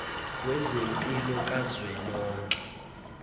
wezempilo ka zwelonke